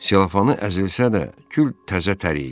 Selofanı əzilsə də, gül təzətər idi.